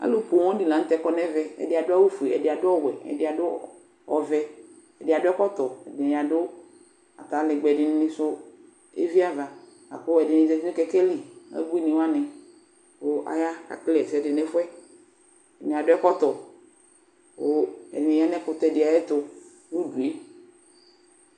Alu poooŋ di laŋtɛ kɔ nɛvɛƐdi adʋ awu fue , ɛdi adʋ ɔwɛ, ɛdi adʋ ɔvɛ, ɛdi adʋ ɛkɔtɔ, ɛdini adʋ atalɛgbɛ Ɛdinisu eviavaKʋ ɛdini zati nʋ kɛkɛ li, ubuini waniKʋ aya , akekele ɛsɛdi nʋ ɛfuɛƐdini adʋ ɛkɔtɔ Kʋ ɛdini ya nɛkutɛ di ayɛtu nudue